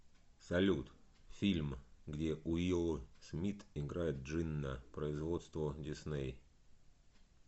салют фильм где уилл смит играет джинна производство дисней